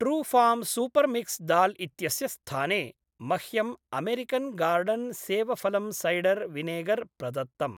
Trufarm super mix dal इत्यस्य स्थाने, मह्यं अमेरिकन् गार्डन् सेवफलम् सैडर् विनेगर् प्रदत्तम्।